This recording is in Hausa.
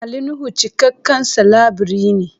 Ali Nuhu cikakken salabirii ne.